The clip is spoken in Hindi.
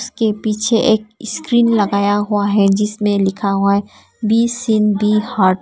के पीछे एक स्क्रीन लगाया हुआ है जिसमें लिखा हुआ बी सीन बि हार्ड ।